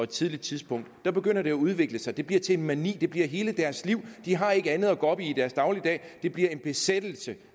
tidligt tidspunkt begynder det at udvikle sig det bliver til en mani det bliver hele deres liv de har ikke andet at gå op i i deres dagligdag det bliver en besættelse